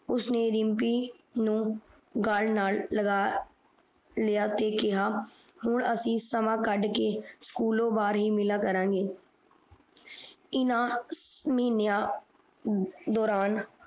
ਉਸਨੇ ਰਿਮਪੀ ਨੂੰ ਗਾਲ ਨਾਲ ਲਗਾ ਲਿਆ ਤੇ ਕਿਹਾ ਹੁਣ ਅਸੀਂ ਸਮਾਂ ਕਾਢ ਕੇ ਸਕੂਲ ਤੋਂ ਬਾਹਰ ਹੀ ਮਿਲਿਆ ਕਰਾਂਗਾ ਇਨਾ ਮਿਨਯਾ ਦੌਰਾਨ